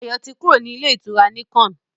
Ayo tí kúrò ní Ilé-ìtura Nicon.